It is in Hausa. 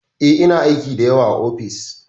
E, ina aiki da yawa a ofis.